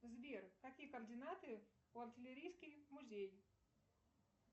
сбер какие координаты у артиллерийский музей